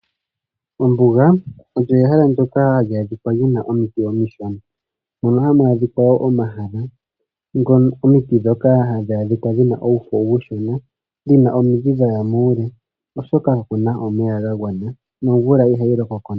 Ombuga olyo ehala ndoka hali adhika lina omiti omishona moka hamu adhika omahala ngonongena omiti dhoka hadhi adhika dhina omakegwa omashona dhina wo nomidhi dhaya muule oshoka kakuna omeya ga gwana yo nomvula ihayi loko ko ya gwana.